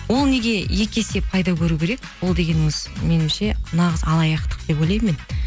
ол неге екі есе пайда көру керек ол дегеніңіз менімше нағыз алаяқтық деп ойлаймын мен